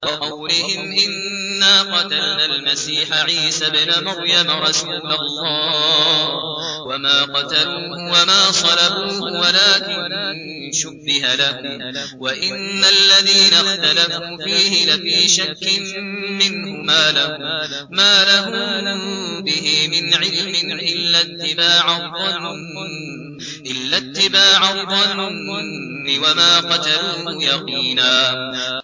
وَقَوْلِهِمْ إِنَّا قَتَلْنَا الْمَسِيحَ عِيسَى ابْنَ مَرْيَمَ رَسُولَ اللَّهِ وَمَا قَتَلُوهُ وَمَا صَلَبُوهُ وَلَٰكِن شُبِّهَ لَهُمْ ۚ وَإِنَّ الَّذِينَ اخْتَلَفُوا فِيهِ لَفِي شَكٍّ مِّنْهُ ۚ مَا لَهُم بِهِ مِنْ عِلْمٍ إِلَّا اتِّبَاعَ الظَّنِّ ۚ وَمَا قَتَلُوهُ يَقِينًا